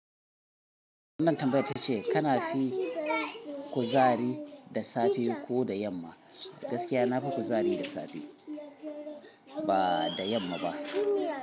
Wannan tambayar tace kana fi kuzari da safe ko da yamma? Gaskiya na fi kuzari da safe ba da yamma ba.